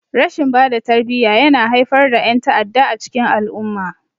Rashin bada tarbiyya yana haifar da yan'ta'adda a cikin al-umma.